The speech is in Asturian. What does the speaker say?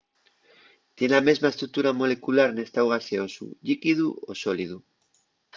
tien la mesma estructura molecular n’estáu gaseosu llíquidu o sólidu